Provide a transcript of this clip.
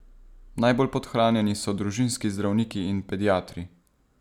Najbolj podhranjeni so družinski zdravniki in pediatri.